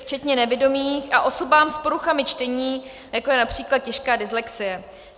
... včetně nevidomých a osobám s poruchami čtení, jako je například těžká dyslexie.